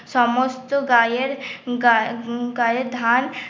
সমস্ত গায়ের গা গায়ের ধান